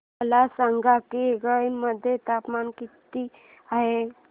मला सांगा की गया मध्ये तापमान किती आहे